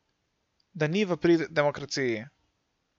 Da ni v prid demokraciji.